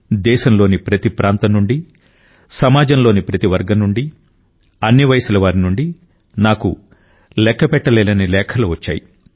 దేశంలోని ప్రతి ప్రాంతం నుండి సమాజంలోని ప్రతి వర్గం నుండి అన్ని వయసుల వారి నుండి నాకు లెక్కపెట్టలేనన్ని లేఖలు వచ్చాయి